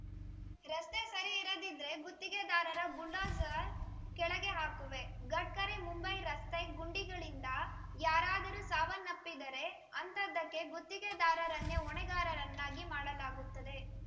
ರಸ್ತೆ ಸರಿ ಇರದಿದ್ರೆ ಗುತ್ತಿಗೆದಾರರ ಬುಲ್ಡೋಜರ್‌ ಕೆಳಗೆ ಹಾಕುವೆ ಗಡ್ಕರಿ ಮುಂಬೈ ರಸ್ತೆ ಗುಂಡಿಗಳಿಂದ ಯಾರಾದರೂ ಸಾವನ್ನಪ್ಪಿದರೆ ಅಂಥದ್ದಕ್ಕೆ ಗುತ್ತಿಗೆದಾರರನ್ನೇ ಹೊಣೆಗಾರರನ್ನಾಗಿ ಮಾಡಲಾಗುತ್ತದೆ